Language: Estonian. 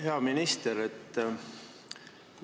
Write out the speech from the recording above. Hea minister!